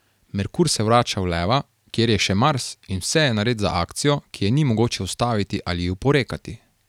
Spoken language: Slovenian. Merkur se vrača v leva, kjer je še Mars, in vse je nared za akcijo, ki je ni mogoče ustaviti ali ji oporekati.